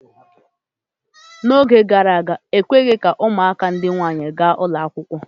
N'oge gara aga, ekweghị ka ụmụaka ndị nwaanyị gaa ụlọ akwụkwọ.